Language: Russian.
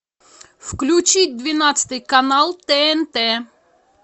включить двенадцатый канал тнт